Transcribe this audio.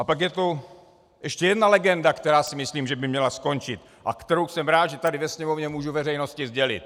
A pak je tu ještě jedna legenda, která si myslím, že by měla skončit, a kterou jsem rád, že tady ve Sněmovně můžu veřejnosti sdělit.